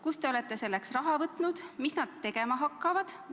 Kust te olete selleks raha võtnud ja mida nad tegema hakkavad?